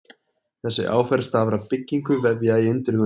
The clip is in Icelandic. Þessi áferð stafar af byggingu vefja í undirhúðinni.